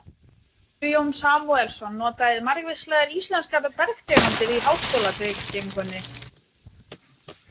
Guðjón Samúelsson notaði margvíslegar íslenskar bergtegundir í háskólabyggingunni.